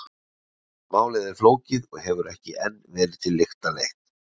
Málið er flókið og hefur ekki enn verið til lykta leitt.